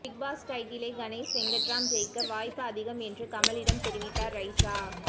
big Boss டைட்டிலை கணேஷ் வெங்கட்ராம் ஜெயிக்க வாய்ப்பு அதிகம் என்று கமலிடம் தெரிவித்தார் ரைசா